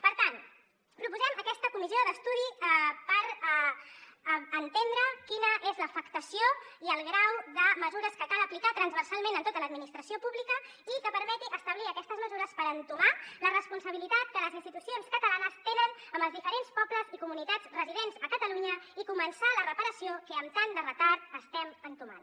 per tant proposem aquesta comissió d’estudi per entendre quina és l’afectació i el grau de mesures que cal aplicar transversalment en tota l’administració pública i que permeti establir aquestes mesures per entomar la responsabilitat que les institucions catalanes tenen amb els diferents pobles i comunitats residents a catalunya i començar la reparació que amb tant de retard estem entomant